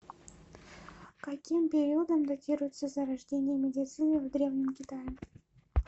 каким периодом датируется зарождение медицины в древнем китае